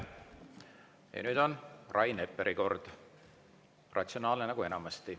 Ja nüüd on Rain Epleri kord, ratsionaalne nagu enamasti.